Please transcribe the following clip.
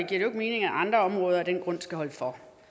det ikke mening at andre områder af den grund skal holde for